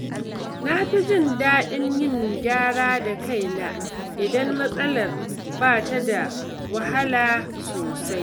Na fi jin daɗin yin gyara da kaina idan matsalar ba ta da wahala sosai.